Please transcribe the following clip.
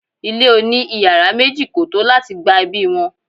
ile oni iyara meji ko to lati gba ebi won